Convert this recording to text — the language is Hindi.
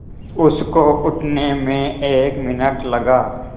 उसको उठने में एक मिनट लगा